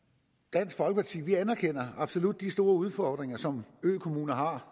dansk folkeparti anerkender absolut de store udfordringer som økommunerne har